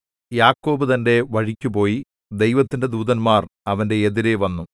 യാക്കോബ് തന്റെ വഴിക്കുപോയി ദൈവത്തിന്റെ ദൂതന്മാർ അവന്റെ എതിരെ വന്നു